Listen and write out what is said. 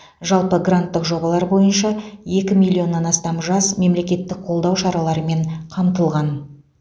жалпы гранттық жобалар бойынша екі миллионнан астам жас мемлекеттік қолдау шараларымен қамтылған